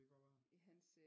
Det kan godt være